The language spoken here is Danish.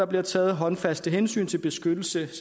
bliver taget håndfaste hensyn til beskyttelse